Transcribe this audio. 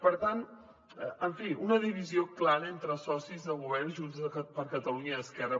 per tant en fi una divisió clara entre els socis de govern junts per catalunya i esquerra